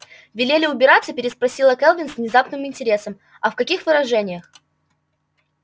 велели убираться переспросила кэлвин с внезапным интересом а в каких выражениях